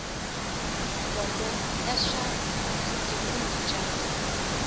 bodo ya swa vugembuli bya